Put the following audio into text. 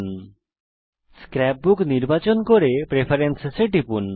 এখন scrapbook নির্বাচন করুন এবং প্রেফারেন্স এ টিপুন